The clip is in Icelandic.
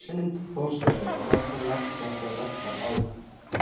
Hrund Þórsdóttir: Hvernig leggst þetta verkfall í ykkur?